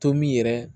Tomin yɛrɛ